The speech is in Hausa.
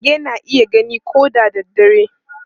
Mage na iya gani ko da dare.